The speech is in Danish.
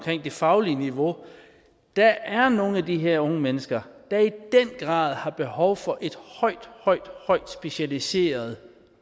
det faglige niveau der er nogle af de her unge mennesker der i den grad har behov for et højt højt højt specialiseret